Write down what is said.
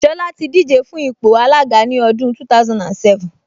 Ṣọlá ti díje fún ipò alága ní ọdún 2007